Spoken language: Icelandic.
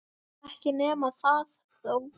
Ekki nema það þó!